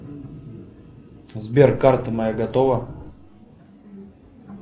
сбер карта моя готова